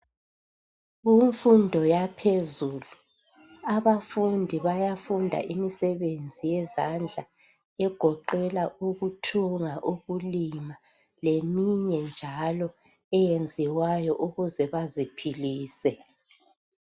Kumfundo yaphezulu abafundi bayafunda imisebenzi yezandla egoqela ukuthunga, ukulima leminye njalo eyenziwayo ukuze baziphilise.